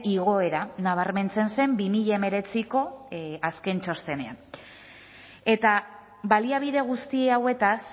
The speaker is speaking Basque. igoera nabarmentzen zen bi mila hemeretziko azken txostenean eta baliabide guzti hauetaz